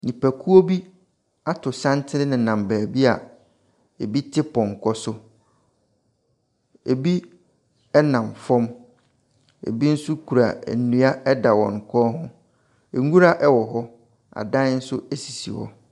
Nnipakuo bi ato santene nenam baabi a,ɛbi te pɔnkɔ so. Ɛbi nam fɔm, ɛbi nso kura nnua ɛda wɔn kɔn ho, nwura ɛwɔ hɔ, adan nso sisi hɔ.